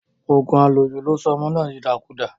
Òògùn àlòjù ló sọ ọmọ náà di ìdàkudà.